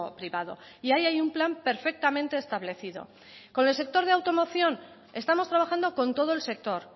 privado y ahí hay un plan perfectamente establecido con el sector de automoción estamos trabajando con todo el sector